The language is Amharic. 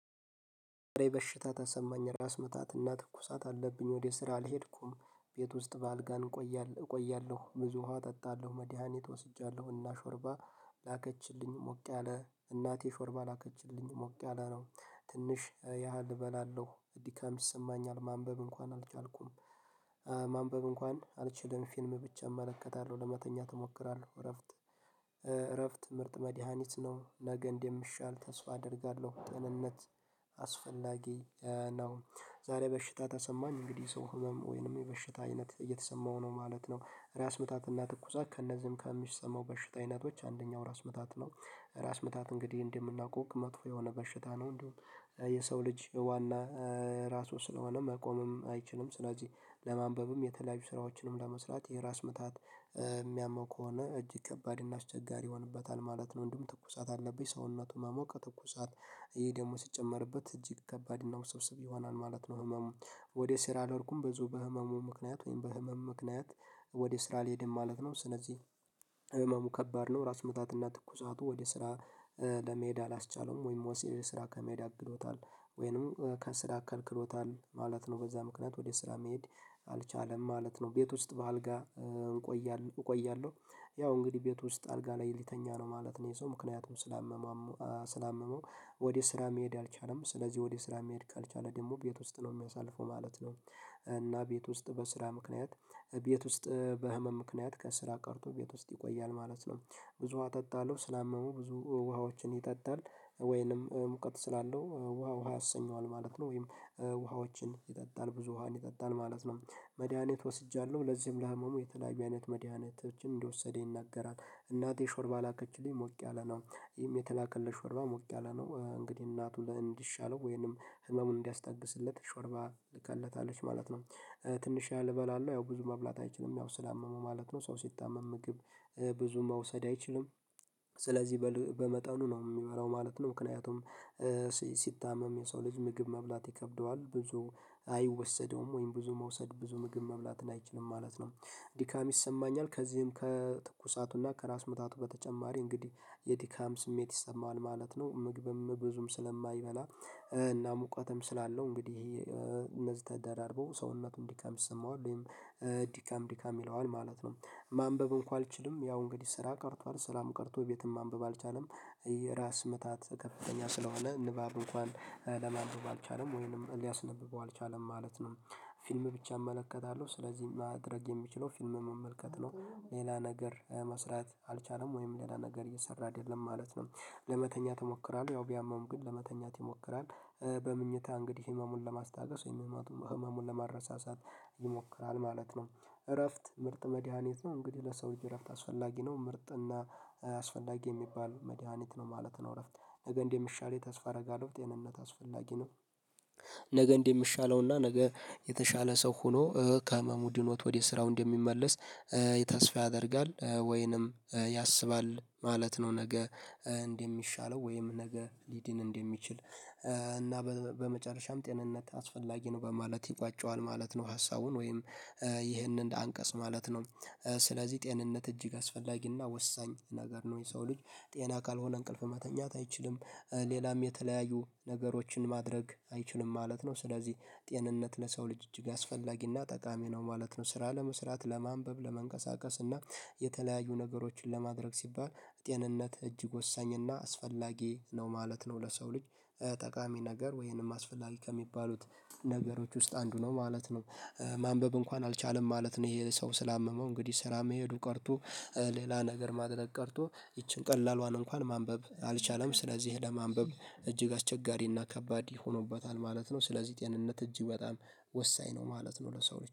በሽታ ተሰማኝ ራስ ምታትና ትኩሳት አለብኝ ወደ ስራ አልሄድኩም ቤት ውስጥ በአልጋ እንቆያለሁ ብዙ ውሃ እጠጣለሁ መድሃኒት ወስጃለሁና ሾርባ ላከችልኝ ሞቅ ያለ እናቴ ሾርባ ላከችልኝ ሞቅ ያለ ነው ትንሽ ያህል እበላለሁ። ድካም ይሰማኛል ማንበብ እንኳን አልቻልኩም። ማንበብ እንኳን አልችልም ፊልም ብቻ እመለከታለሁ ለመተኛት እሞክራለሁ እረፍት እረፍት ምርጥ መድሃኒት ነው። ነገ እንደምሻል ተስፋ አደርጋለሁ ጥንነት አስፈላጊ ነው። ዛሬ በሽታ ተሰማኝ እንግዲህ ሰው ህመም ወይንም የበሽታ አይነት እየተሰማሁ ነው ማለት ነው። ራስ ምታትና ትኩሳት ከእነዚህም ከሚሰማው በሽታ አይነቶች አንደኛው ራስ ምታት ነው። ራስ ምታት እንግዲህ እንደምናውቀው መጥፎ የሆነ በሽታ ነው። እንዲሁም የሰው ልጅ ዋና ራሱ ስለሆነ መቆምም አይችልም። ስለዚህ ለማንበብም የተለያዩ ስራዎችንም ለመስራት የራስ ምታት የሚያመው ከሆነ እጅግ ከባድ እና አስቸጋሪ ይሆንበታል ማለት ነው። እንዲሁም ትኩሳት አለብኝ ሰውነቱን ማሞቀ ትኩሳት። ይሄ ደግሞ ሲጨመርበት እጅግ ከባድ እና ውስብስብ ይሆናል ማለት ነው። ህመም ወደ ስራ አልሄድኩም ብዚሁ በህመሙ ምክንያት ወይም በህመም ምክንያት። ወደ ስራ ልሄድም ማለት ነው። ስለዚህ ህመሙ ከባድ ነው። ራስ ምታትና ትኩሳቱ ወደ ስራ ለመሄድ አላስቻለውም ወይም ወንስራ ከሜዳ አግዶታል። ወይንም ከስራ ከልክሎታል ማለት ነው። በዛ ምክንያት ወደ ስራ መሄድ አልቻለም ማለት ነው። ቤት ውስጥ በአልጋ እቆያለሁ። ያው እንግዲህ ቤት ውስጥ አልጋ ላይ ልተኛ ነው ማለት ነው። ይሄ ሰው ምክንያቱም ስላመመው ወደ ስራ መሄድ አልቻለም ስለዚህ ወደ ስራ መሄድ ካልቻለ ደግሞ ቤት ውስጥ ነው የሚያሳልፈው ማለት ነው። እና ቤት ውስጥ በስራ ምክንያት ቤት ውስጥ ምክንያት ከስራ ቀርቶ ቤት ውስጥ ይቆያል ማለት ነው። ብዙ አጠጣለሁ ስላመሙ ብዙ ውሃዎችን ይጠጣል። ወይንም ሙቀት ስላለው ውሃ ውሃ ያሰኘዋል ማለት ነው። ወይም ውሃዎችን ይጠጣል ብዙ ውሃን ይጠጣል ማለት ነው። መድሃኒት ወስጃለሁ ለዚህም ለህመሙ የተለያዩ አይነት መድሃኒቶችን እንደወሰደ ይናገራል። እናቴ ሾርባ ላከችልኝ ሞቅ ያለ ነው። ይህም የተላከለሽ ወርባ ሞቅ ያለ ነው እንግዲህ እናቱ ለእንዲሻለው ወይንም ህመሙን እንዲያስታግስለት ሾርባ ልከለታለች ማለት ነው። ትንሽ ያህል እበላለሁ ያው ብዙ መብላት አይችልም ያው ስላመመው ማለት ነው ሰው ሲታመም ምግብ ብዙ መውሰድ አይችልም። ስለዚህ በመጠኑ ነው የምበላው ማለት ነው። ምክንያቱም ሲታመም የሰው ልጅ ምግብ መብላት ይከብደዋል ብዙ አይወሰደውም ወይም ብዙ መውሰድ ብዙ ምግብ መብላትን አይችልም ማለት ነው። ዲካሚ ይሰማኛል ከዚህም ከትኩሳቱና ከራስ ምታቱ በተጨማሪ እንግዲህ የቲካም ስሜት ይሰማል ማለት ነው። ምግብም ብዙም ስለማይበላ እና ሙቀትም ስላለው እንግዲህ እነዚህ ተደራርበው ሰውነቱን ድካም ይሰማሁ ወይም ድካም ድካም ይለዋል ማለት ነው። ማንበብ እንኳን አልችልም ያው እንግዲህ ስራ ቀርቷል ሰራም ቀርቶ ቤትም ማንበብ አልቻለም። የራስ ምታት ከፍተኛ ስለሆነ ንባብ እንኳን ለማንደው ባልቻለም ወይንም ሊያስነብበው አልቻለም ማለት ነው። ፊልም ብቻ እመለከታለሁ ስለዚህ ማድረግ የሚችለው ፊልም መመልከት ነው። ሌላ ነገር መስራት አልቻለም ወይም ሌላ ነገር እየሰራ አይደለም ማለት ነው። ለመተኛት ይሞክራል ያው ቢያመውም ግን ለመተኛት ይሞክራል። በምኝታ እንግዲህ ህመሙን ለማስታገስ ወይም ህመሙን ለማረሳሳት ይሞክራል ማለት ነው። እረፍት ምርጥ መድሃኒት ነው እንግዲህ ለሰው ልጂ እረፍት አስፈላጊ ነው ምርጥና አስፈላጊ የሚባል መድሃኒት ነው ማለት ነው። እረፍት ነገ እንደ ሚሻለኝ ተስፋ አደርጋለሁ ጤንነት አስፈላጊ ነው። ነገ እንደ ሚሻለውና ነገ የተሻለ ሰው ሆኖ ከህመሙድኖ ወደ ስራው እንደሚመለስ የተስፋ ያደርጋል ወይንም ያስባል ማለት ነው። ነገ እንደሚሻለው ወይም ነገ ሊድን እንደሚችል እና በመጨረሻም ጤንነት አስፈላጊ ነው በማለት ይቋጨዋል ማለት ነው። ሀሳቡን ወይም ይህንን እንደ አንቀጽ ማለት ነው። ስለዚህ ጤንነት እጅግ አስፈላጊና ወሳኝ ነገር ነው የሰው ልጅ ጤና ካልሆነ እንቅልፍ ማተኛት አይችልም። ሌላም የተለያዩ ነገሮችን ማድረግ አይችልም ማለት ነው። ስለዚህ ጤንነት ለሰው ልጅ እጅግ አስፈላጊና ጠቃሚ ነው ማለት ነው። ስራ ለመስራት ለማንበብ ለመንቀሳቀስና የተለያዩ ነገሮችን ለማድረግ ሲባል ጤንነት እጅግ ወሳኝ እና አስፈላጊ ነው ማለት ነው። ለሰው ልጅ ጠቃሚ ነገር ወይንም አስፈላጊ ከሚባሉት ነገሮች ውስጥ አንዱ ነው ማለት ነው። ማንበብ እንኳን አልቻለም ማለት ነው። ይሄ ሰው ስላመመው እንግዲህ ስራ መሄዱ ቀርቶ ሌላ ነገር ማድረግ ቀርቶ ይቺን ቀላሉን እንኳን ማንበብ አልቻለም ስለዚህ ለማንበብ እጅግ አስቸጋሪና ከባድ ይሆኑበታል ማለት ነው። ስለዚህ ጤንነት እጅ በጣም ወሳኝ ነው ማለት ነው። ለሰው